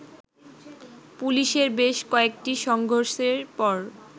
পুলিশের বেশ কয়েকটি সংঘর্ষের পর